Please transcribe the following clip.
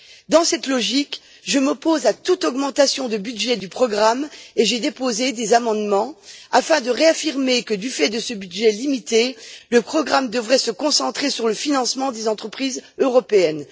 Dans cette logique, je m'oppose à toute augmentation de budget du programme et j'ai déposé des amendements afin de réaffirmer que, du fait de ce budget limité, le programme devrait se concentrer sur le financement des entreprises européennes.